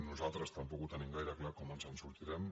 nos·altres tampoc tenim gaire clar com ens en sortirem